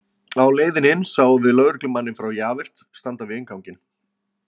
Á leiðinni inn sáum við lögreglumanninn frá Javert standa við innganginn.